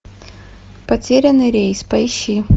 потерянный рейс поищи